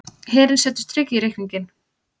Herinn setur strik í reikninginn